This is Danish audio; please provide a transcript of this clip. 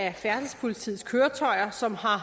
af færdselspolitiets køretøjer som har